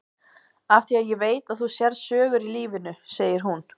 Af því að ég veit að þú sérð sögur í lífinu, segir hún.